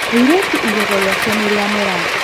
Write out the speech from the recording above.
mũirĩtu igego rĩake nĩrĩmera